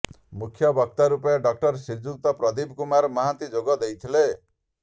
ମୁଖ୍ୟ ବକ୍ତା ରୁପେ ଡ଼ଃ ଶ୍ରୀଯୁକ୍ତ ପ୍ରଦୀପ କୁମାର ମହାନ୍ତି ଯୋଗ ଦେଇଥିଲେ